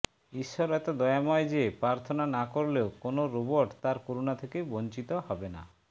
ঈশ্বর এত দয়াময় যে প্রার্থনা না করলেও কোনো রবোট তার করুণা থেকে বঞ্চিত হবে না